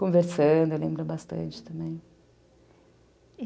Conversando, eu lembro bastante também.